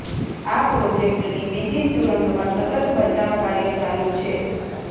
આ પ્રોજેક્ટની બીજી સુરંગમાં સતત બચાવ કાર્ય ચાલુ છે